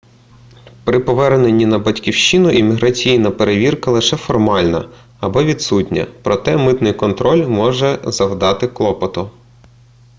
при поверненні на батьківщину імміграційна перевірка лише формальна або відсутня проте митний контроль може завдати клопоту